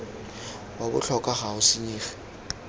wa botlhokwa ga o senyege